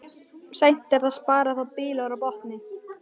Seint er að spara þá bylur á botni.